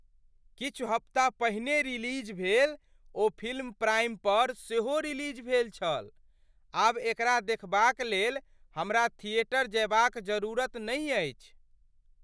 किछु हफ्ता पहिने रिलीज भेल ओ फिल्म प्राइम पर सेहो रिलीज भेल छल! आब एकरा देखबाक लेल हमरा थिएटर जएबाक जरूरत नहि अछि!